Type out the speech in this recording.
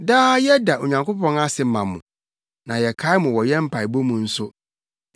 Daa yɛda Onyankopɔn ase ma mo, na yɛkae mo wɔ yɛn mpaebɔ mu nso.